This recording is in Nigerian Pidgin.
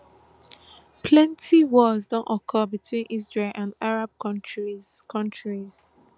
plenty wars don occur between israel and arab kontris kontris